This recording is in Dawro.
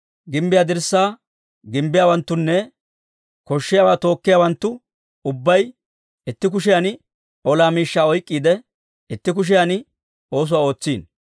Gimbbiyaa dirssaa gimbbiyaawanttunne koshshiyaawaa tookkiyaawanttu ubbay itti kushiyan ola miishshaa oyk'k'iide, itti kushiyan oosuwaa ootsino.